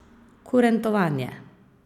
Kurentovanje.